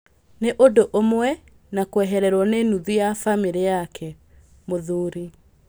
"Nĩ ũndũ ũmwe na kwehererwo nĩ nuthu ya bamĩrĩ yaku," mũthuri